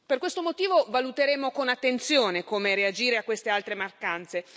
Per questo motivo, valuteremo con attenzione come reagire a queste altre mattanze.